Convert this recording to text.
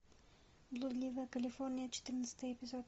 блудливая калифорния четырнадцатый эпизод